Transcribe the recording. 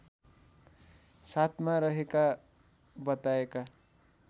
साथमा रहेका बताएका